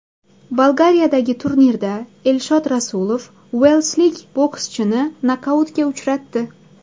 Bolgariyadagi turnirda Elshod Rasulov uelslik bokschini nokautga uchratdi.